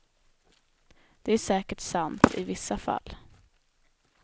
Det är säkert sant i vissa fall.